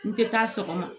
N tɛ taa sɔgɔma